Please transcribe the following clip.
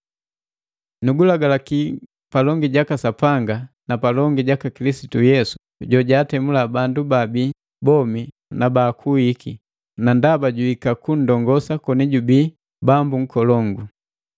Nugulagalaki palongi jaka Sapanga na palongi jaka Kilisitu Yesu jojaatemula bandu babii bomi na bakuwiki, na ndaba juhika kundongosa koni jubi Bambu Nkolongu: